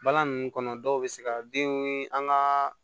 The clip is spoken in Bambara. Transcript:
Balan nunnu kɔnɔ dɔw be se ka den an ŋaa